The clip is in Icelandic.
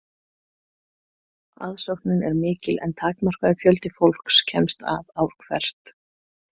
Aðsóknin er mikil en takmarkaður fjöldi fólks kemst að ár hvert.